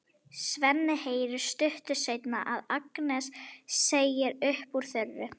Svenni heyrir stuttu seinna að Agnes segir upp úr þurru: